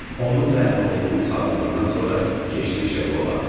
Onun və əmioğlunun sağlığından sonra keçdi Şeqlova.